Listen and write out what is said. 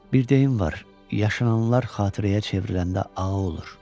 Bir deyim var, yaşananlar xatirəyə çevriləndə ağrı olur.